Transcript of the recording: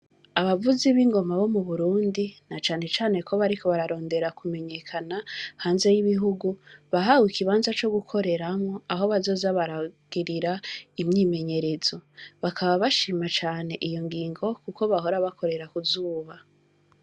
Abavuzi b'ingoma bo muburundi na cane cane ko bariko bararondera kumenyekana hanze y'ibihungu bahewe ikibaza co gukoreramwo aho bazoza baragirira imyimenyerezo, bakaba bashima cane iyo ngingo kuko bahora bakorera kuzuba.